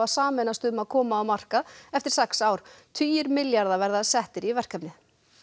sameinast um að koma á markað eftir sex ár tugir milljarða verði settir í verkefnið